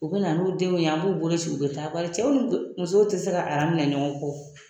U bɛ na n'u denw ye an b'u boloci u bɛ taa bari cɛw ni musow tɛ se ka minɛ ɲɔgɔn kɔ